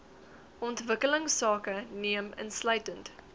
ontwikkelingsake neem insluitend